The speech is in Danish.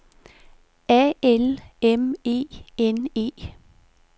A L M E N E